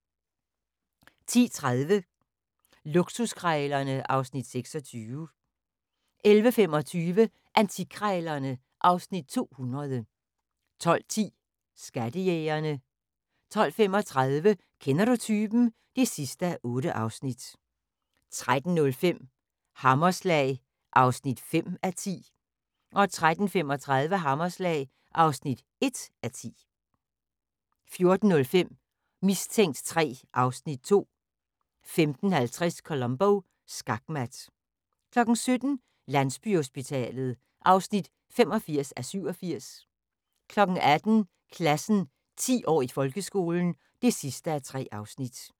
10:30: Luksuskrejlerne (Afs. 26) 11:25: Antikkrejlerne (Afs. 200) 12:10: Skattejægerne 12:35: Kender du typen? (8:8) 13:05: Hammerslag (5:10) 13:35: Hammerslag (1:10) 14:05: Mistænkt 3 (Afs. 2) 15:50: Columbo: Skakmat 17:00: Landsbyhospitalet (85:87) 18:00: Klassen – 10 år i folkeskolen (3:3)